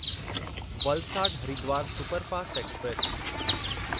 Valsad Haridwar superfast express